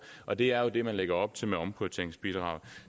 og det er jo det man lægger op til med omprioriteringsbidraget